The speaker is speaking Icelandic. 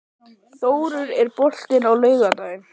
Þórður, er bolti á laugardaginn?